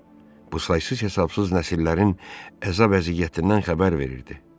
Bu saysız-hesabsız nəsillərin əzab-əziyyətindən xəbər verirdi.